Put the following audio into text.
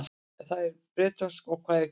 Hvað er bretónska og hvað er gelíska?